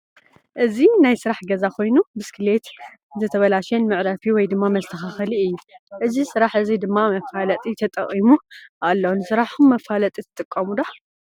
እዚ ናይ ስራሕ ገዛ ኮይኑ ብስክሌተ እንተተባለሽየን መዕረይ ወይ ድማ መስተካከሊ እዩ። እዚ ስራሕ እዚ ድማ መፋለጢ ተጠቂሙ ኣሎ። ንስራሕኩም መፋለጢ ትጥቀሙ ዶ ?